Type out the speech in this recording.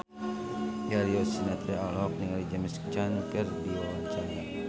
Darius Sinathrya olohok ningali James Caan keur diwawancara